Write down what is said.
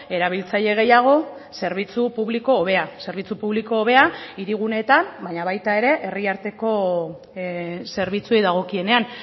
erabiltzaile gehiago zerbitzu publiko hobea zerbitzu publiko hobea hirigunetan baina baita ere herri arteko zerbitzuei dagokienean